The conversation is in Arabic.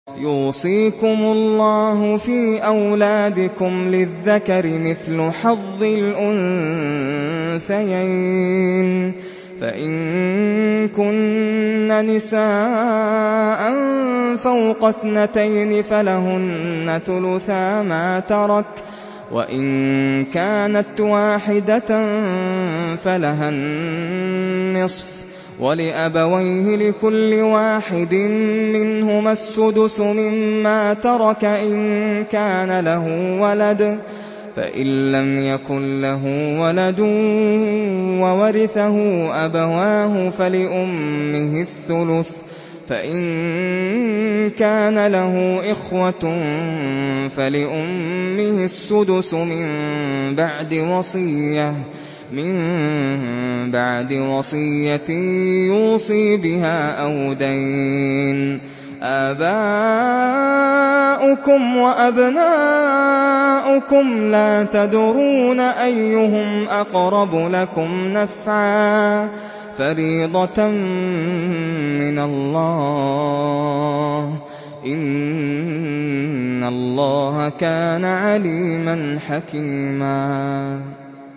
يُوصِيكُمُ اللَّهُ فِي أَوْلَادِكُمْ ۖ لِلذَّكَرِ مِثْلُ حَظِّ الْأُنثَيَيْنِ ۚ فَإِن كُنَّ نِسَاءً فَوْقَ اثْنَتَيْنِ فَلَهُنَّ ثُلُثَا مَا تَرَكَ ۖ وَإِن كَانَتْ وَاحِدَةً فَلَهَا النِّصْفُ ۚ وَلِأَبَوَيْهِ لِكُلِّ وَاحِدٍ مِّنْهُمَا السُّدُسُ مِمَّا تَرَكَ إِن كَانَ لَهُ وَلَدٌ ۚ فَإِن لَّمْ يَكُن لَّهُ وَلَدٌ وَوَرِثَهُ أَبَوَاهُ فَلِأُمِّهِ الثُّلُثُ ۚ فَإِن كَانَ لَهُ إِخْوَةٌ فَلِأُمِّهِ السُّدُسُ ۚ مِن بَعْدِ وَصِيَّةٍ يُوصِي بِهَا أَوْ دَيْنٍ ۗ آبَاؤُكُمْ وَأَبْنَاؤُكُمْ لَا تَدْرُونَ أَيُّهُمْ أَقْرَبُ لَكُمْ نَفْعًا ۚ فَرِيضَةً مِّنَ اللَّهِ ۗ إِنَّ اللَّهَ كَانَ عَلِيمًا حَكِيمًا